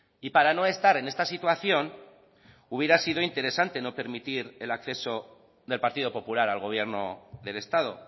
y para no estar en esta situación hubiera sido interesante no permitir el acceso del partido popular al gobierno del estado